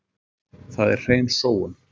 Það er hrein sóun.